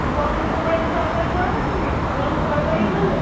পটল কুমড়োর যে তরকারি করনা তুমি ওরকম তরকারি করলো